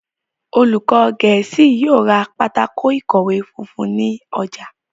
olùkó gèésì yóò rá Pátákó ìkọ̀wé funfun ní ojà.